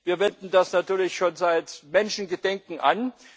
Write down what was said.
Wir wenden das natürlich schon seit Menschengedenken an.